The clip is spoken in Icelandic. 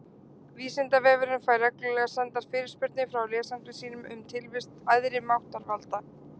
Vísindavefurinn fær reglulega sendar fyrirspurnir frá lesendum sínum um tilvist æðri máttarvalda.